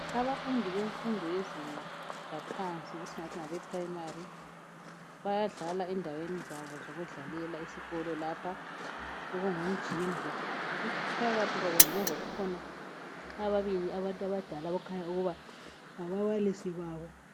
Abafundi bemfundo yezinga laphansi esingathi ngabeprimary bayadlala endaweni zabo zokudlalela esikolo lapho ngumjingo. Phakathi kwabo ngemuva kulabantu ababili abangabantu abadala esingathi ngababalisi babo.